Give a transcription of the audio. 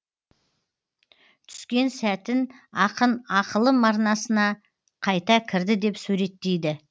түскен сәтін ақын ақылым арнасына қайта кірді деп суреттейді